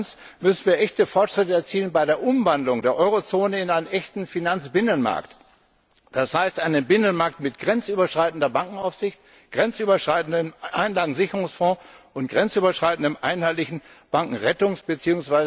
Zweitens müssen wir echte Fortschritte erzielen bei der Umwandlung der Eurozone in einen echten Finanzbinnenmarkt, das heißt in einen Binnenmarkt mit grenzüberschreitender Bankenaufsicht, einem grenzüberschreitenden Einlagensicherungsfonds und einem grenzüberschreitenden einheitlichen Bankenrettungs bzw.